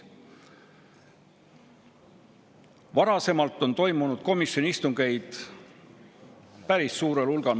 Varasemalt on komisjoni istungeid toimunud päris suurel hulgal.